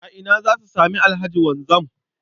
A ina za su sami Alhaji Wanzam?